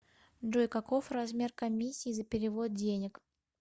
джой каков размер комиссии за перевод денег